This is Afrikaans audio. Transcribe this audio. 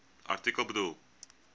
artikel bedoel